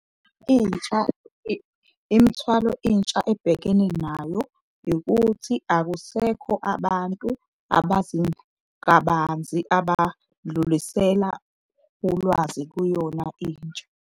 Imthwalo intsha ebhekene nayo ikuthi akusekho abantu abazi kabanzi abadlulisela ulwazi kuyona intsha.